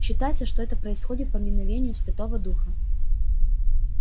считается что это происходит по мановению святого духа